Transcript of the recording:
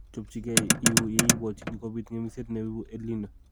Chopgei iuu yeibwotjini kobiit ng'emisiet neibu EL Nino